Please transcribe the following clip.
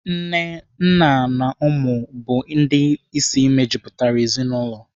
Nne, nna na ụmụ bụ ndị isi mejupụtara ezinaụlọ.